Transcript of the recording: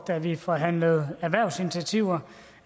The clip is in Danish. da vi forhandlede erhvervsinitiativer